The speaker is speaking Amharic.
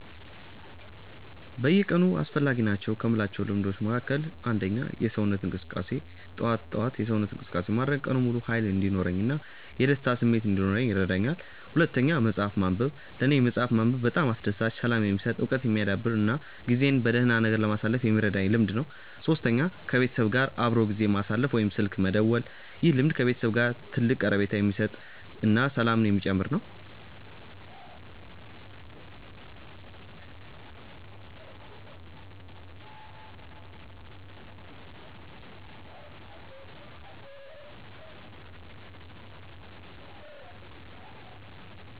በየቀኑ አስፈላጊ ናቸው ከምላቸው ልምዶች መካከል፦ 1. የሰውነት እንቅስቃሴ፦ ጠዋት ጠዋት የሰውነት እንቅስቃሴ ማድረግ ቀኑን ሙሉ ሃይል እንዲኖረኝ እና የደስታ ስሜት እንዲኖረኝ ይረዳኛል። 2. መፅሐፍ ማንበብ፦ ለኔ መፅሐፍ ማንበብ በጣም አስደሳች፣ ሰላም የሚሰጥ፣ እውቀት የሚያዳብር እና ጊዜን በደህና ነገር ለማሳለፍ የሚረዳኝ ልምድ ነው። 3. ከቤተሰብ ጋር አብሮ ጊዜ ማሳለፍ ወይም ስልክ መደወል፦ ይህ ልምድ ከቤተሰብ ጋር ትልቅ ቀረቤታ የሚሰጥ እና ሰላምን የሚጨምር ነው